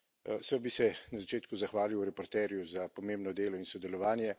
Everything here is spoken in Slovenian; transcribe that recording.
Predvsem bi se na začetku zahvalil reporterju za pomembno delo in sodelovanje.